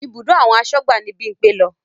Ibùdó àwọn asọ́gbà ni Bímpé lọ